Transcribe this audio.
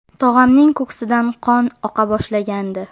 Tog‘amning ko‘ksidan qon oqa boshlagandi.